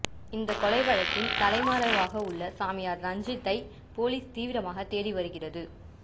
இந்த கொலை வழக்கில் தலைமறைவாக உள்ள சாமியார் ரஞ்சித்தை போலீஸ் தீவிரமாக தேடிவருகிறது